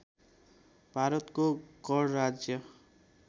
भारतको गणराज्य